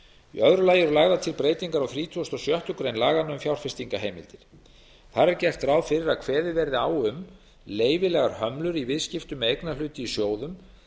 í öðru lagi eru lagðar til breytingar á þrítugasta og sjöttu grein laganna um fjárfestingarheimildir þar er gert ráð fyrir að kveðið verði á um leyfilegar hömlur í viðskiptum með eignarhluti í sjóðum